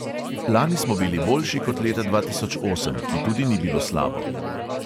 Lani smo bili boljši kot leta dva tisoč osem, ki tudi ni bilo slabo.